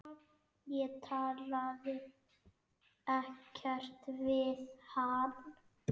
Ég talaði ekkert við hann.